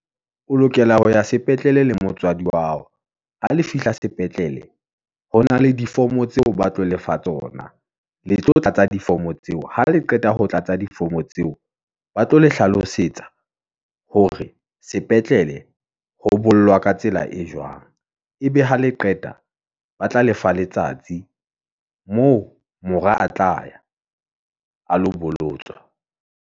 O lokela ho ya sepetlele le motswadi wa hao, ha le fihla sepetlele. Ho na le di-form-o tseo ba tlo lefa tsona , le tlo tlatsa di-form-o tseo, ha le qeta ho tlatsa di-form-o tseo. Ba tlo le hlalosetsa, hore sepetlele, ho bollwa ka tsela e jwang, ebe ha le qeta [pa, ba tla lefa letsatsi , moo mora a tla ya a lo bolotswa.